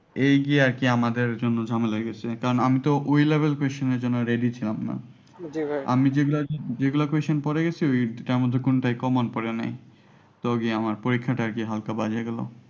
এই যে আর কি আমাদের জন্য ঝামেলা হয়ে গেছে কারণ আমি তো ওই level question এর জন্য ready ছিলাম না আমি যেগুলা question পড়ে গেছি তার মধ্যে কোনটাই common পড়ে নাই তো গিয়ে আমার পরীক্ষাটা আর কি হালকা বাজে হয়ে গেল।